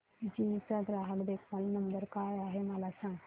GE चा ग्राहक देखभाल नंबर काय आहे मला सांग